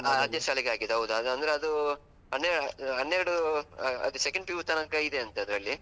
ಹಾ ಅದೇ ಶಾಲೆಗೆ ಹಾಕಿದ್ದು, ಹೌದು ಅದು ಅಂದ್ರೆ ಅದು ಹನ್ನೆರಡು ಹನ್ನೆರಡು second PU ತನಕ ಇದೆ ಅಂತೆ ಅದ್ರಲ್ಲಿ.